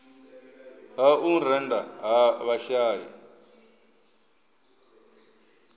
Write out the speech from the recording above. ha u rennda ha vhashai